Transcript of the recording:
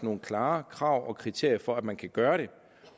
nogle klare krav og kriterier for at man kan gøre det